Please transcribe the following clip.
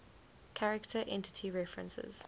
character entity references